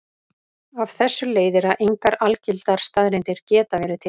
Af þessu leiðir að engar algildar staðreyndir geta verið til.